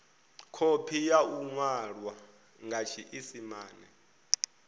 khophi ya iwalwa nga tshiisimane